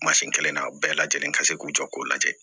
kelen na u bɛɛ lajɛlen ka se k'u jɔ k'u lajɛ